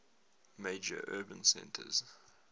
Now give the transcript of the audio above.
major urban centers